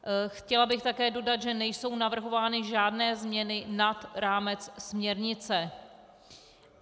Chtěla bych také dodat, že nejsou navrhovány žádné změny nad rámec směrnice.